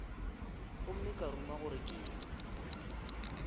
gomme ka ruma gore ke